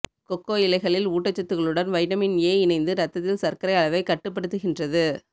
கொக்கோ இலைகளில் ஊட்டச்சத்துகளுடன் vitamin A இணைந்து இரத்தத்தில் சர்க்கரை அளவைக் கட்டுப்படுத்துகின்றது